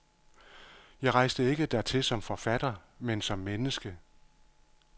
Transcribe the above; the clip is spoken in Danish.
Jeg rejste ikke dertil som forfatter, men som menneske.